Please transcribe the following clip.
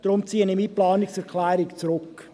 Deshalb ziehe ich meine Planungserklärung zurück.